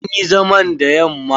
An yi zaman da yamma.